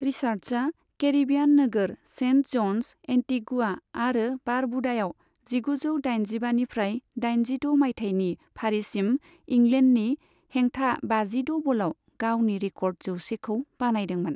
रिचार्ड्सआ Caribbean नोगोर saint Johns, Antigua आरो बारबुडायाव जिगुजौ दाइनजिबानिफ्राय दाइनजिद' मायथायनि फारिसिम इंलेन्डनि हेंथा बाजिद' बलाव गावनि रिकर्ड जौसेखौ बानायदोंमोन।